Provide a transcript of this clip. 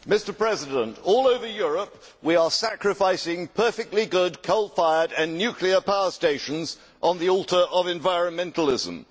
Mr President, all over Europe we are sacrificing perfectly good coal fired and nuclear power stations on the altar of environmentalism.